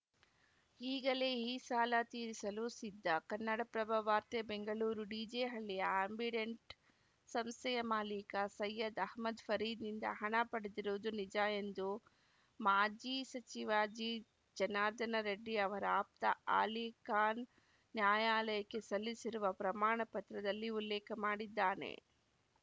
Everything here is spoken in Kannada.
ಈಗಲೇ ಈ ಸಾಲ ತೀರಿಸಲು ಸಿದ್ಧ ಕನ್ನಡಪ್ರಭ ವಾರ್ತೆ ಬೆಂಗಳೂರು ಡಿಜೆಹಳ್ಳಿಯ ಆ್ಯಂಬಿಡೆಂಟ್‌ ಸಂಸ್ಥೆಯ ಮಾಲಿಕ ಸೈಯದ್‌ ಅಹಮ್ಮದ್‌ ಫರೀದ್‌ನಿಂದ ಹಣ ಪಡೆದಿರುವುದು ನಿಜ ಎಂದು ಮಾಜಿ ಸಚಿವ ಜಿಜನಾರ್ದನರೆಡ್ಡಿ ಅವರ ಆಪ್ತ ಅಲಿಖಾನ್‌ ನ್ಯಾಯಾಲಯಕ್ಕೆ ಸಲ್ಲಿಸಿರುವ ಪ್ರಮಾಣ ಪತ್ರದಲ್ಲಿ ಉಲ್ಲೇಖ ಮಾಡಿದ್ದಾನೆ